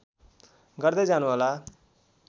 गर्दै जानुहोला